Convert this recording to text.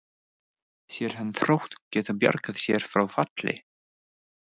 Sér hann Þrótt geta bjargað sér frá falli?